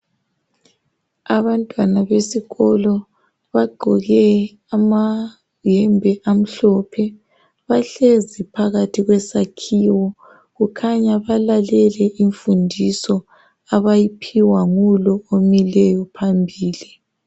Abantwana besikolo bagqoke amayembe amhlophe bahlezi phakathi kwesakhiwo kukhanya balalele imfundiso abayiphiwa ngulo omileyo phambili.